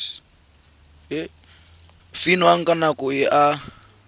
fiwang ka nako e a